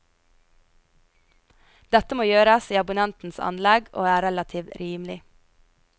Dette må gjøres i abonnentenes anlegg og er relativt rimelig.